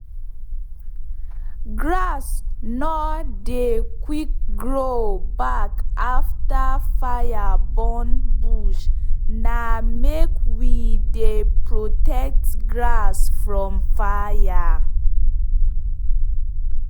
grass nor dey quick grow back afta fire burn bush na make we dey protect grass from fire.